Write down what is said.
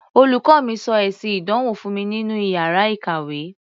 Olùkọ́ mi sọ èsì ìdánwò fún mi nínú iyàrá ìkàwé.